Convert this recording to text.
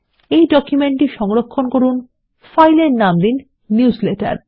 এই ডকুমেন্ট টি সংরক্ষণ করুন ফাইলের নাম দিন নিউজলেটার